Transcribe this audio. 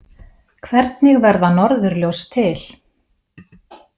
Hvernig verða norðurljós til?